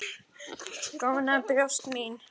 Góna á brjóst mín.